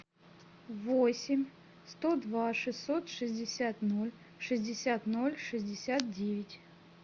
восемь сто два шестьсот шестьдесят ноль шестьдесят ноль шестьдесят девять